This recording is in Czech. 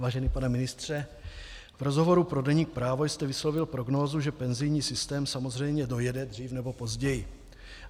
Vážený pane ministře, v rozhovoru pro deník Právo jste vyslovil prognózu, že penzijní systém samozřejmě dojede dřív nebo později.